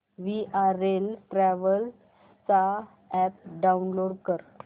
VRL travels चा app download कर